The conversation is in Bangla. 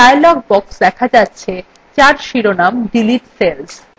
একটি dialog box দেখা যাচ্ছে যার শিরোনাম delete cells